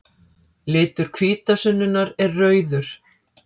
Litur hvítasunnunnar er rauður.